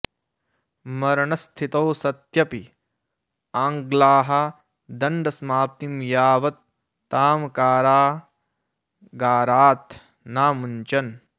मरणस्थितौ सत्यपि आङ्ग्लाः दण्डसमाप्तिं यावत् तां कारागारात् नामुञ्चन्